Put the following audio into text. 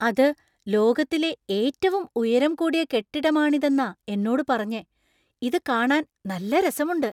അത് ലോകത്തിലെ ഏറ്റവും ഉയരം കൂടിയ കെട്ടിടമാണിതെന്നാ എന്നോട് പറഞ്ഞെ. ഇത് കാണാൻ നല്ല രസമുണ്ട് !